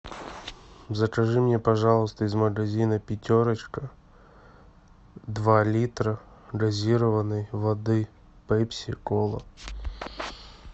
закажи мне пожалуйста из магазина пятерочка два литра газированной воды пепси кола